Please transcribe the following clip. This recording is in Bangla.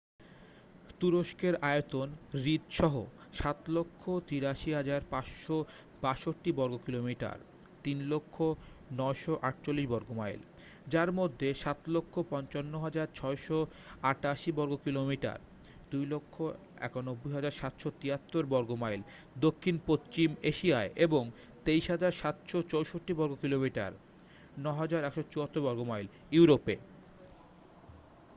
তুরস্কের আয়তন হ্রদ সহ ৭৮৩,৫৬২ বর্গকিলোমিটার ৩০০,৯৪৮ বর্গ মাইল যার মধ্যে ৭৫৫,৬৮৮ বর্গকিলোমিটার ২৯১,৭৭৩ বর্গ মাইল দক্ষিণ পশ্চিম এশিয়ায় এবং ২৩,৭৬৪ বর্গকিলোমিটার ৯,১৭৪ বর্গ মাইল ইউরোপে।